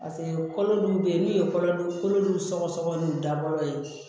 paseke kolo dɔw be yen n'u ye kolodon kolo dun sɔgɔsɔgɔ n'u dabɔlen